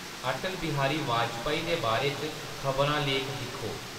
अटल बिहारी वाजपेयी दे बारे च खबरां लेख दिक्खो